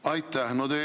Aitäh!